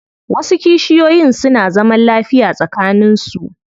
Wasu kishiyoyin suna zaman lafiya tsakanin su.